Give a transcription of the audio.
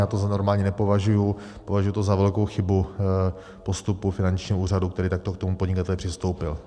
Já to za normální nepovažuji, považuji to za velkou chybu postupu finančního úřadu, který takto k tomu podnikateli přistoupil.